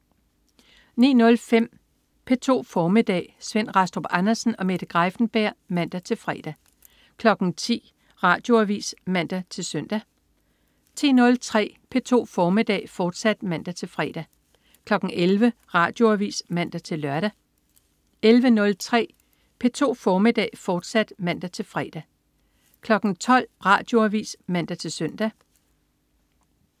09.05 P2 formiddag. Svend Rastrup Andersen og Mette Greiffenberg (man-fre) 10.00 Radioavis (man-søn) 10.03 P2 formiddag, fortsat (man-fre) 11.00 Radioavis (man-lør) 11.03 P2 formiddag, fortsat (man-fre) 12.00 Radioavis (man-søn)